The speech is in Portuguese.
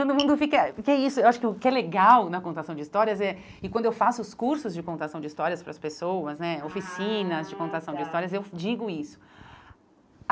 Todo mundo fica porque é isso Eu acho que o que é legal na contação de histórias, é e quando eu faço os cursos de contação de histórias para as pessoas né, ah oficinas de tá contação de histórias, eu digo isso.